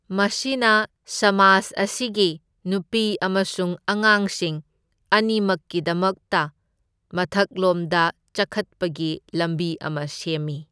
ꯃꯁꯤꯅ ꯁꯃꯥꯖ ꯑꯁꯤꯒꯤ ꯅꯨꯄꯤ ꯑꯃꯁꯨꯡ ꯑꯉꯥꯡꯁꯤꯡ ꯑꯅꯤꯃꯛꯀꯤꯗꯃꯛꯇ ꯃꯊꯛꯂꯣꯝꯗ ꯆꯈꯠꯄꯒꯤ ꯂꯝꯕꯤ ꯑꯃ ꯁꯦꯝꯃꯤ꯫